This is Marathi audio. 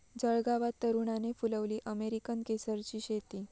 जळगावात तरुणाने फुलवली अमेरिकन केसरची शेती